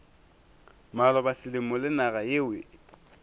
maloba selemo le naga yeo